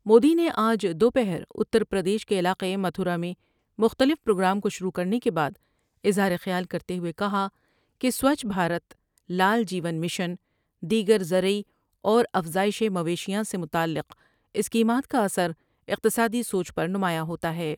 مودی نے آج دو پہراتر پردیش کے علاقہ متھورا میں مختلف پروگرام کو شروع کرنے کے بعداظہار خیال کرتے ہوۓ کہا کہ سوچھ بھارت لال جیون مشن دیگر زری اور افزائش مویشیاں سے متعلق اسکیمات کا اثر اقتصادی سوچ پر نمایاں ہوتا ہے ۔